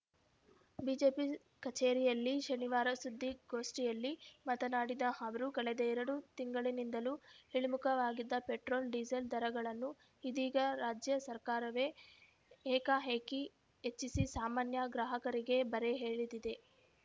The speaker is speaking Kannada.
ಬಿಜೆಪಿ ಕಚೇರಿಯಲ್ಲಿ ಶನಿವಾರ ಸುದ್ದಿಗೋಷ್ಠಿಯಲ್ಲಿ ಮಾತನಾಡಿದ ಅವರು ಕಳೆದ ಎರಡು ತಿಂಗಳಿನಿಂದಲೂ ಇಳಿಮುಖವಾಗಿದ್ದ ಪೆಟ್ರೋಲ್‌ ಡಿಸೇಲ್‌ ದರಗಳನ್ನು ಇದೀಗ ರಾಜ್ಯ ಸರ್ಕಾರವೇ ಏಕಾಏಕಿ ಹೆಚ್ಚಿಸಿ ಸಾಮಾನ್ಯ ಗ್ರಾಹಕರಿಗೆ ಬರೆ ಎಳೆದಿದೆ